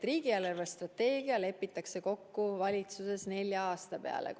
Riigi eelarvestrateegia lepitakse kokku valitsuses nelja aasta peale.